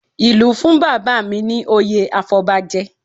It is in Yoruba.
Ìlú fún bàbá mi ní oyè afọbajẹ